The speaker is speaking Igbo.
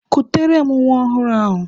Kutere m nwa ọhụrụ ahụ!